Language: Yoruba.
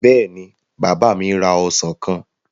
Bẹ́ẹ̀ni, bàbá mi ra ọsàn kan.